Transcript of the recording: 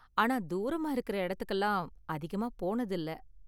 ஆனா தூரமா இருக்குற இடத்துக்குலாம் அதிகமா போனது இல்ல.